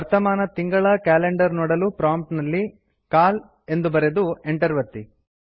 ವರ್ತಮಾನ ತಿಂಗಳ ಕ್ಯಾಲೆಂಡರ್ ನೋಡಲು ಪ್ರಾಂಪ್ಟ್ ನಲ್ಲಿ ಸಿಎಎಲ್ ಎಂದು ಬರೆದು ಎಂಟರ್ ಒತ್ತಿ